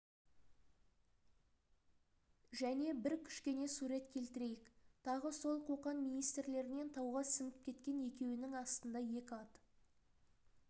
және бір кішкене сурет келтірейік тағы сол қоқан министрлерінен тауға сіңіп кеткен екеуінің астында екі ат